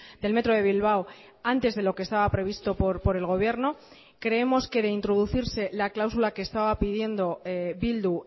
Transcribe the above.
del metro de bilbao antes de lo que estaba previsto por el gobierno creemos que de introducirse la cláusula que estaba pidiendo bildu